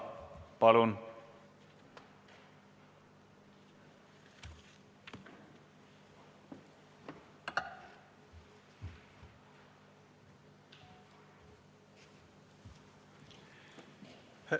Palun!